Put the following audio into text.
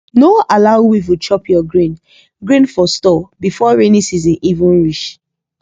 no allow weevil chop your grain grain for store before rainy season even reach